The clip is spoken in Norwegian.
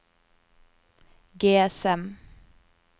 GSM